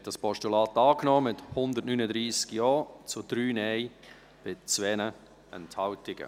Sie haben dieses Postulat angenommen, mit 139 Ja- gegen 3 Nein-Stimmen bei 2 Enthaltungen.